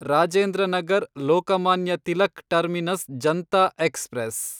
Rajendra Nagar Lokmanya Tilak terminus Janta express